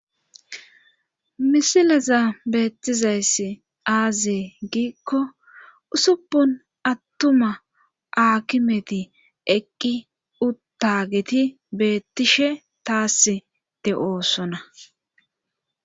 misileza beettizayssi aazee giikko usuppun attuma akimeti eqqi uttageti beettishe taass de7oosona